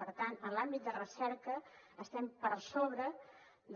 per tant en l’àmbit de recerca estem per sobre